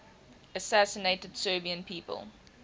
assassinated serbian people